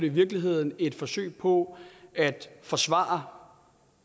i virkeligheden et forsøg på at forsvare